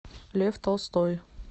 лев толстой